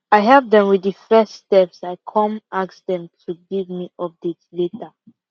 i help dem with the first steps i come ask dem to give me update later